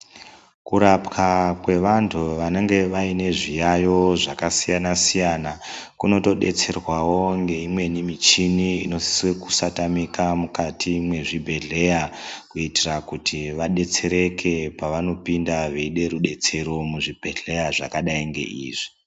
Kurapwa kwevanthu vanenge vaine zviyayo zvakasiyana siyana kunotodetserwao ngeimweni michini inosise kusatamika mukati mwezvibhedhleya kuitira kuti vadetsereke pavanopinda veide rudetsero muzvibhedhleya zvakadai ngeizvi.